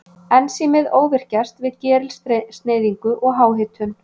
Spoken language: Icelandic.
Ensímið óvirkjast við gerilsneyðingu og háhitun.